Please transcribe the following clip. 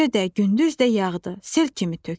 Gecə də, gündüz də yağdı, sel kimi tökdü.